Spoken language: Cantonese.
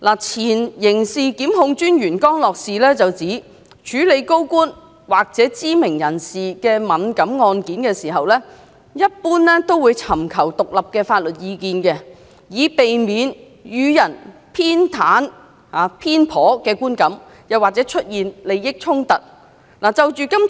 前刑事檢控專員江樂士指出，律政司在處理涉及高官或知名人士的敏感案件時，一般會尋求獨立的法律意見，以避免予人偏袒的觀感或利益衝突的問題。